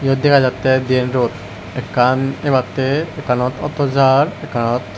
yot dega jatte diyen rot ekkan ebatte ekkanot ato jar ekkanot.